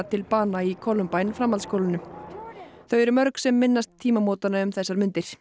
til bana í framhaldsskólanum þau eru mörg sem minnast tímamótanna um þessar mundir